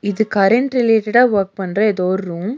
இது கரண்ட் ரிலேட்டடா வொர்க் பண்ற ஏதோ ஒரு ரூம் .